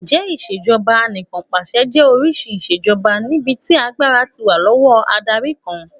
Ǹjẹ́ Ìṣèjọba Anìkànpàṣẹ jẹ́ oríṣi ìṣèjoba níbi tí agbára ti wà lọ́wọ́ adarí kan